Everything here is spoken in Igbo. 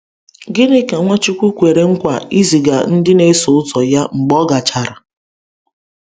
Gịnị ka Nwachukwu kwere nkwa iziga ndị na-eso ụzọ ya mgbe ọ gachara?